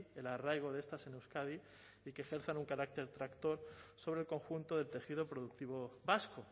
el arraigo de estas en euskadi y que ejerzan un carácter tractor sobre el conjunto del tejido productivo vasco